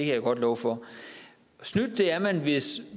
jeg godt love for snydt er man hvis